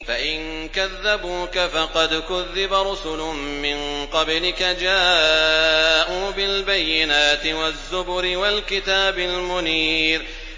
فَإِن كَذَّبُوكَ فَقَدْ كُذِّبَ رُسُلٌ مِّن قَبْلِكَ جَاءُوا بِالْبَيِّنَاتِ وَالزُّبُرِ وَالْكِتَابِ الْمُنِيرِ